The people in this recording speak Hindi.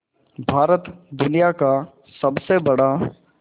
भारत दुनिया का सबसे बड़ा